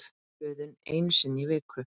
Böðun einu sinni í viku!